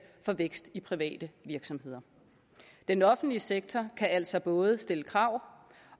for vækst i de private virksomheder den offentlige sektor kan altså både stille krav